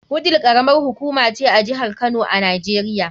Wudil karamar hukuma ce a jihar Kano a Najeriya.